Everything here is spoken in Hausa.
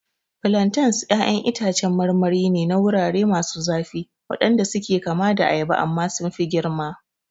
Plantains ƴaƴan itacen marmari ne na wurare masu zafi waɗanda suke kama da ayaba amma sun fi girma.